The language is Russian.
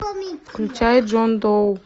включай джон доу